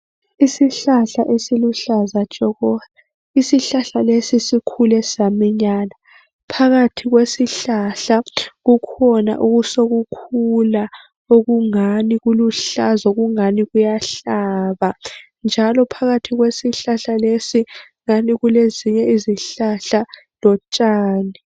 Isihlahla esiluhlaza tshoko. Isihlahla lesi sikhule saminyana. Phakathi kwesihlahla kukhona osokukhula okungani kuluhlaza, okungani kuyahlaba njalo phakathi kwesihlahla lesi ungani kulezinye izihlahla lotshani.